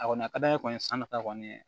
A kɔni ka d'an ye kɔni sannita kɔni